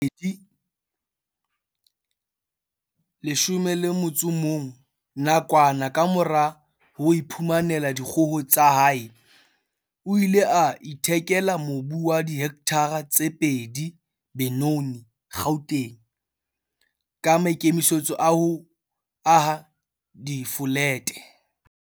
Ka selemo sa 2014, nakwana kamora ho iphumanela dikgoho tsa hae, o ile a ithekela mobu wa dihektare tse pedi Benoni, Gauteng, ka maikemisetso a ho aha difolete.